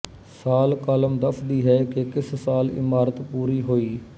ਸਾਲ ਕਾਲਮ ਦੱਸਦੀ ਹੈ ਕਿ ਕਿਸ ਸਾਲ ਇਮਾਰਤ ਪੁਰੀ ਹੋਈ